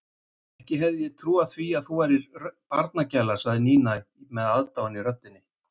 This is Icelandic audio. Ekki hefði ég trúað því að þú værir barnagæla sagði Nína með aðdáun í röddinni.